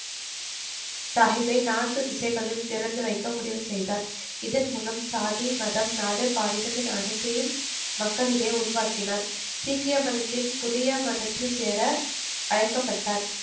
சாகிப்பை நான்கு திசைகளிலும் திறந்து வைக்க முடிவு செய்தார் இதன் மூலம் சாதி மதம் நாடு பாலினம் என அனைத்தையும் மக்களிடையே உருவாக்கினார் சீக்கிய மதத்தின் புதிய மதத்தில் சேர அழைக்கப்பட்டார்